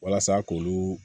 Walasa k'olu